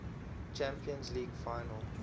champions league final